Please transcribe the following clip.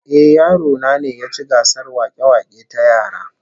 Ehh, yaro na ne ya ci gasar wake-wake ta yara